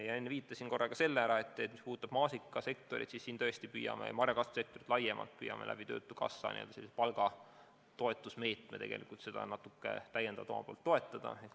Ja ma enne viitasin ka sellele, et mis puudutab maasikasektorit, siis me tõesti püüame marjakasvatust töötukassa palgatoetusmeetmega natuke toetada.